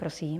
Prosím.